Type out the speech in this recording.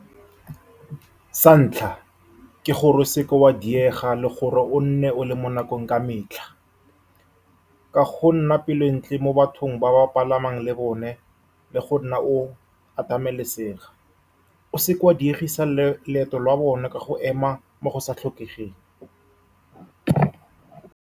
Sa ntlha ke gore o seka wa diega, le gore o nne o le mo nakong ka metlha, ka go nna pelo e ntle mo bathong ba ba palamang le bone, le go nna o atamelesega. O seka wa diegisa leeto la bone ka go ema mo go sa tlhokegeng.